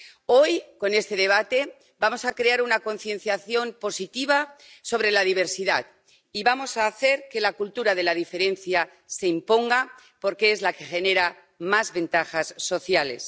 Hoy, con este debate, vamos a crear una concienciación positiva sobre la diversidad y vamos a hacer que la cultura de la diferencia se imponga, porque es la que genera más ventajas sociales.